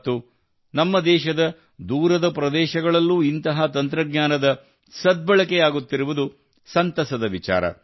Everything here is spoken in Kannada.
ಮತ್ತು ನಮ್ಮ ದೇಶದ ದೂರದ ಪ್ರದೇಶಗಳಲ್ಲೂ ಇಂತಹ ತಂತ್ರಜ್ಞಾನದ ಸದ್ಬಳಕೆಯಾಗುತ್ತಿರುವುದು ಸಂತಸದ ವಿಚಾರ